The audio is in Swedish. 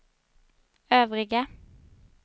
övriga